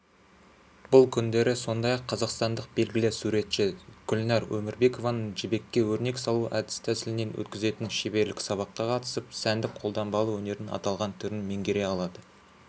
бұл күндері сондай-ақ қазақстандық белгілі суретші гүлнәр өмірбекованың жібекке өрнек салу әдіс-тәсілінен өткізетін шеберлік-сабаққа қатысып сәндік-қолданбалы өнердің аталған түрін меңгере алады